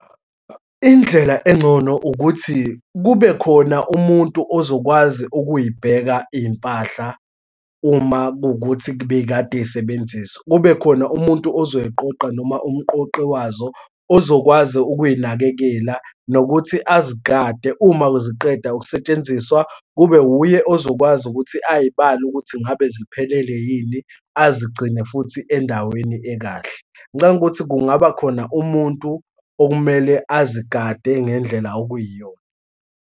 Indlela engcono ukuthi kube khona umuntu ozokwazi ukuyibheka iy'mpahla uma kuwukuthi bekade yisebenziswa. Kubekhona umuntu ozoyiqoqa noma umqoqi wazo, ozokwazi ukuyinakekela, nokuthi azigade uma ziqeda ukusetshenziswa kube wuye ozokwazi ukuthi ayibale ukuthi ngabe ziphelele yini, azigcine futhi endaweni ekahle. Ngicabanga ukuthi kungaba khona umuntu okumele azigade ngendlela okuyiyona.